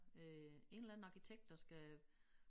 Øh en eller anden arkitekt der skal